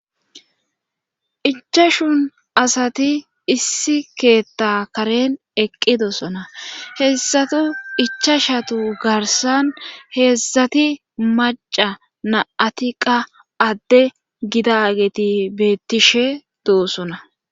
ichashun asati issi keetta karen eqqidossona heessatu ichashatu garsan heessati maca naatiqa adde gidageti beettishe doosona